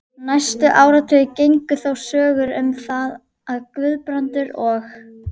Næstu áratugi gengu þó sögur um það, að Guðbrandur og